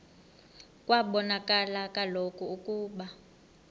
kwabonakala kaloku ukuba